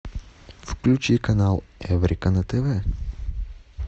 включи канал эврика на тв